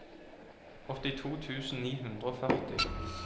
åttito tusen ni hundre og førti